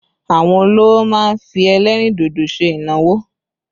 Àwọn olówò má ń fi ẹlẹ́rìn dodo ṣe ìnáwó